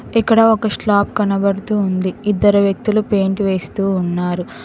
ఇక్కడ ఒక స్లాబ్ కనపడుతూ ఉంది ఇద్దరు వ్యక్తులు పెయింట్ వేస్తూ ఉన్నారు.